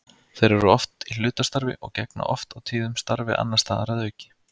Þeir eru oft í hlutastarfi og gegna oft og tíðum starfi annars staðar að auki.